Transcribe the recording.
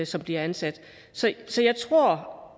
som bliver ansat så jeg tror